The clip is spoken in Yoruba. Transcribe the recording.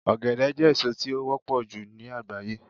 ogede je èso ti o wọpọ ju ni agbaye